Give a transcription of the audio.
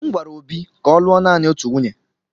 M gwara Obi ka ọ lụọ naanị otu nwunye.